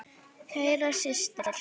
Kæra systir.